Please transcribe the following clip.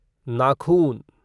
नाखून